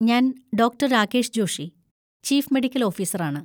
ഞാൻ doctor Rakesh Joshi, chief medical ഓഫീസറാണ്.